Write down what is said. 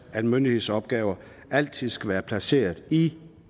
at en myndighedsopgave altid skal være placeret i